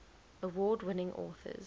award winning authors